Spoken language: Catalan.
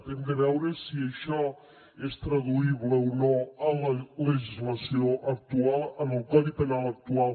hem de veure si això és traduïble o no en la legislació actual en el codi penal actual